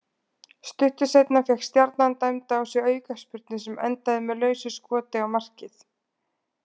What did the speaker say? Stuttu seinna fékk Stjarnan dæmda á sig aukaspyrnu sem endaði með lausu skoti á markið.